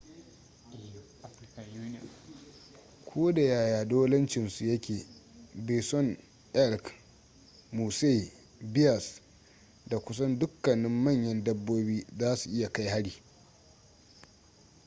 ko da yaya dolancin su yake bison elk moose bears da kusan dukkanin manyan dabbobi za su iya kai hari